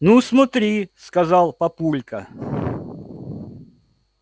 ну смотри сказал папулька